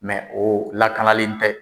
Mɛ o lakanalen tɛ